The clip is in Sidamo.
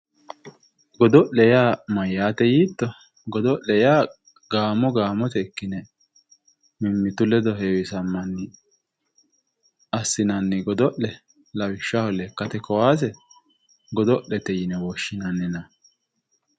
Godo'le yaa mayate yiitto ,godo'le yaa gaamo gaamotenni ikkine mimmitu ledo heewisamanni assinanni godo'le lawishshaho lekkate kaase godo'lete yinne woshshinanni.